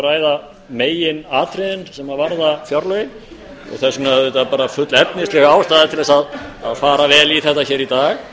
ræða meginatriðin sem varða fjárlögin og þess vegna er full efnisleg ástæða til að fara vel í þetta hér í dag